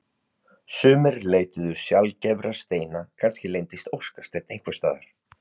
Sumir leituðu sjaldgæfra steina kannski leyndist óskasteinn einhvers staðar.